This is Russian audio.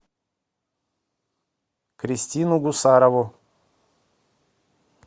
кристину гусарову